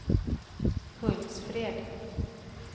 Hultsfred